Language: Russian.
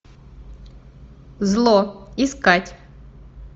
зло искать